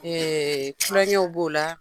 tulonkɛw b'o la.